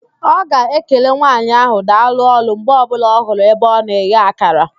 Ọ ga-ekele nwaanyị ahụ, "daalụ ọrụ" mgbe ọbụla ọ hụrụ ebe ọ na-eghe akara